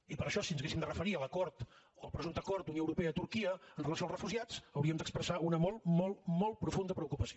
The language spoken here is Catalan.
i per això si ens haguéssim de referir a l’acord al presumpte acord d’unió europea turquia amb relació als refugiats hauríem d’expressar una molt molt molt profunda preocupació